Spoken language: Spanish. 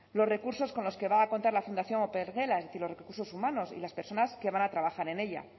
los recursos con los que va a contar la fundación opengela es decir los recursos humanos y las personas que van a trabajar en ella